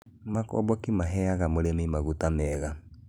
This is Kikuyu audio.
makomboki maheaga mũrĩmi maguta meega